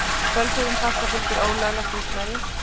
Fölsuðum passa fylgir ólöglegt húsnæði.